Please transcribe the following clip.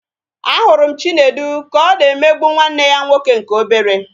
A hụrụ m Chinedu ka ọ na-emegbu nwanne ya nwoke nke obere